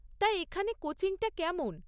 তা এখানে কোচিংটা কেমন?